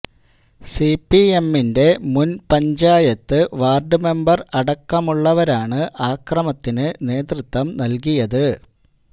സിപിഎമ്മിന്റെ മുന് panchayat ward member അടക്കമുള്ളവരാണു അക്രമത്തിനു നേതൃത്വം നല്കിയത്